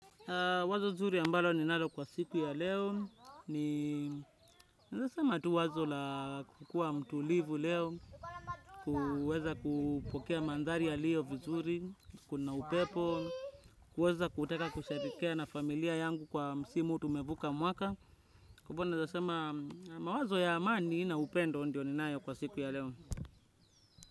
Wazo zuri ambalo ninalo kwa siku ya leo, ni naeza sema tu wazo la kukua mtulivu leo, kuweza kupokea mandari ya liyo vizuri, kuna upepo, kuweza kuteka kushabikia na familia yangu kwa msimu tumevuka mwaka. Kwa hivo naeza sema mawazo ya amani na upendo ndio ninayo kwa siku ya leo.